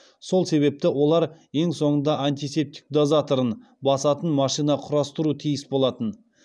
сол себепті олар ең соңында антисептик дозаторын басатын машина құрастыру тиіс болатын